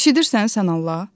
Eşidirsən sən Allah?